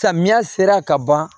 Samiya sera ka ban